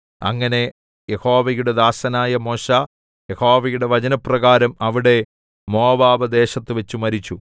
അങ്ങനെ യഹോവയുടെ ദാസനായ മോശെ യഹോവയുടെ വചനപ്രകാരം അവിടെ മോവാബ് ദേശത്തുവച്ച് മരിച്ചു